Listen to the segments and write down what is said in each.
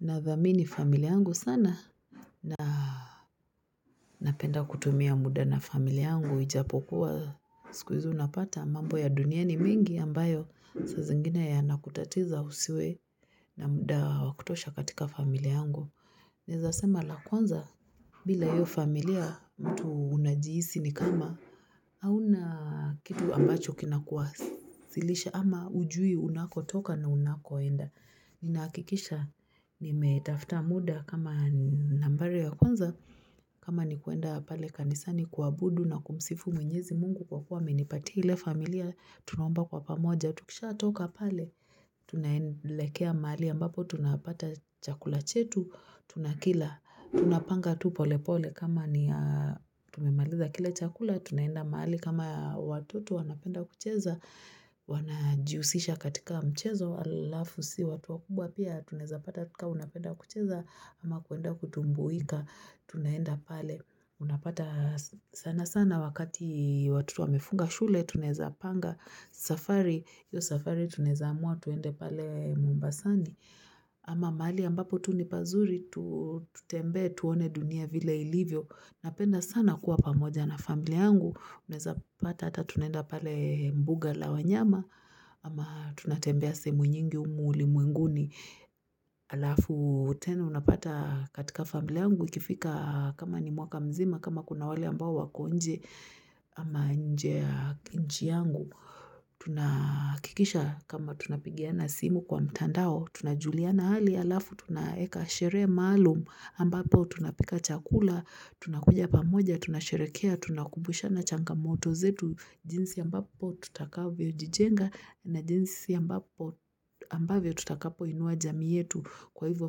Nathamini familia yangu sana na napenda kutumia muda na familia yangu ijapokuwa siku hizi unapata mambo ya dunia ni mingi ambayo saa zingine yanakutatiza usiwe na muda wakutosha katika familia yangu. Naezasema lakwanza bila hiyo familia mtu unajihisi ni kama. Hauna kitu ambacho kinakuwasilisha ama hujui unakotoka na unakoenda. Ninahakikisha nimetafuta muda kama naambayo ya kwanza. Kama ni kwenda pale kanisani kuabudu na kumsifu mwenyezi mungu kwa kuwa amenipatia ile familia. Tunaomba kwa pamoja. Tukishatoka pale. Tunaelekea mahali ambapo tunapata chakula chetu. Tunakila. Tunapanga tu pole pole kama ni tumemaliza kile chakula. Tunaenda mahali kama watoto wanapenda kucheza, wanajihusisha katika mchezo, alafu sisi watu wakubwa pia, tunaeza pata tu kama unapenda kucheza, ama kwenda kutumbuika, tunaenda pale. Unapata sana sana wakati watoto wamefunga shule, tunaeza panga safari, hiyo safari tunaeza amua, twende pale mombasani. Ama mahali ambapo tu nipazuri tutembe tuone dunia vile ilivyo. Napenda sana kuwa pamoja na familia yangu. Unaeza pata hata tunenda pale mbuga la wanyama ama tunatembea sehemu nyingi humu ulimwenguni. Alafu tenu unapata katika familia yangu ikifika kama ni mwaka mzima kama kuna wale ambao wako nje ama nje ya ki nchi yangu tuna hakikisha kama tunapigiana simu kwa mtandao tunajuliana hali alafu tunaeka sherehe maalumu ambapo tunapika chakula tunakuja pamoja, tunasherehekea tunakumbushana changamoto zetu jinsi ambapo tutakavyo jijenga na jinsi ambapo ambavyo tutakapo inua jamii yetu kwa hivyo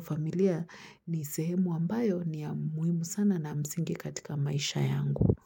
familia ni sehemu ambayo ni ya muhimu sana na msingi katika maisha yangu.